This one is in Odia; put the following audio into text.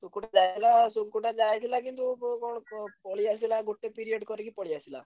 ସୁକୁଟା ଯାଇଥିଲା ସୁକୁଟା ଯାଇଥିଲା କିନ୍ତୁ କଣ ପଳେଇଆସିଲା ଗୋଟେ period କରି ପଳେଇଆସିଲା।